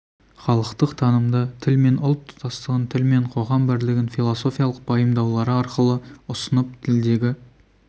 халықтық танымды тіл мен ұлт тұтастығын тіл мен қоғам бірлігін философиялық пайымдаулары арқылы ұсынып тілдегі